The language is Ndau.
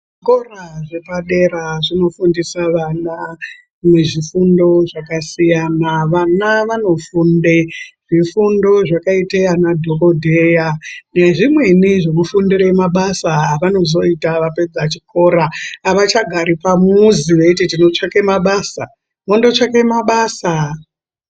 Zvikora zvepa dera zvino fundisa vana ne zvifundo zvaka siyana vana vano funde zvifundo zvaka ite ana dhokodheya ne zvimweni zveku fundire mabasa ava nozoita vapedza chikora ava chagari pamuzi veiti tino tsvake mabasa vondo tsvake mabasa.